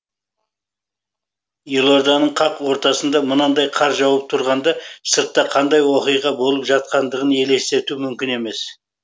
елорданың қақ ортасында мынандай қар жауып тұрғанда сыртта қандай оқиға болып жатқандығын елестету мүмкін емес